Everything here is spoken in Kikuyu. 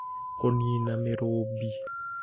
Kũniina Mĩrumbĩ: